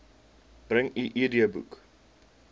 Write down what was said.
bring u idboek